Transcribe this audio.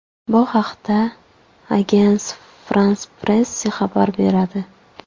Bu haqda Agence France-Presse xabar beradi.